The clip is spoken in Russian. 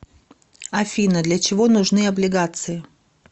афина для чего нужны облигации